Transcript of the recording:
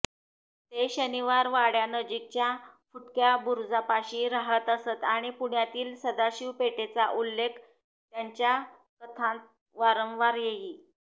ते शनिवारवाड्यानजीकच्या फुटक्या बुरुजापाशी राहत असत आणि पुण्यातील सदाशिव पेठेचा उल्लेख त्यांच्या कथांत वारंवार येई